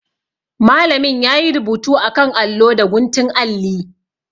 Malamin ya yi rubutu a kan allo da guntun alli.